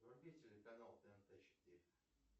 вруби телеканал тнт четыре